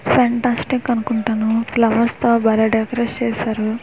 Fantastic అనుకుంటాను flowers తో బాలే డెకోరేట్స్ చేశారు .